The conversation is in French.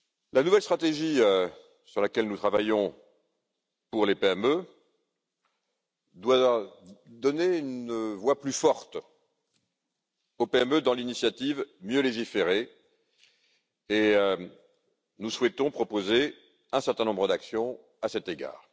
La nouvelle stratégie sur laquelle nous travaillons pour les PME doit leur donner une voix plus forte dans le cadre de l'initiative Mieux légiférer, et nous souhaitons proposer un certain nombre d'actions à cet égard.